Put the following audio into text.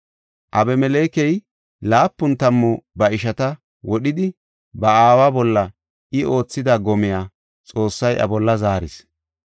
Abimelekey laapun tammu ba ishata wodhidi, ba aawa bolla I oothida gomiya Xoossay iya bolla zaaris.